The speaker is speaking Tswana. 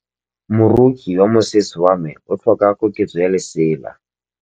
Moroki wa mosese wa me o tlhoka koketsô ya lesela.